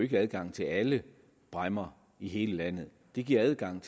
giver adgang til alle bræmmer i hele landet det giver adgang